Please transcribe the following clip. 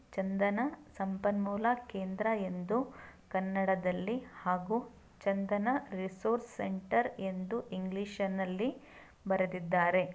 ಚಂದನ ಸಂಪನ್ಮೂಲ ಕೇಂದ್ರ ಎಂದು ಕನ್ನಡದಲ್ಲಿ ಹಾಗೂ ಚಂದನ ರಿಸೋರ್ಸ್‌ ಸೆಂಟರ್‌ ಎಂದು ಇಂಗ್ಲೀಷ್‌ ನಲ್ಲಿ ಬರೆದಿದ್ದಾರೆ.